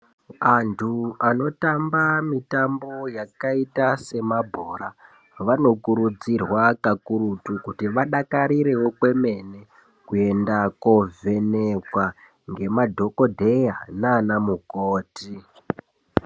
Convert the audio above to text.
Antu anotamba mitambo yakaita semabhora vanokurudzirwa kakurutu kuti vadakarirewo kwemene kunovhenekwa ngemadhokodheya nanamukoti .